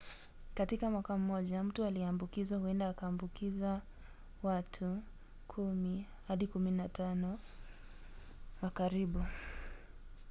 katika mwaka mmoja mtu aliyeambukizwa huenda akaambukiza wato 10-15 wa karibu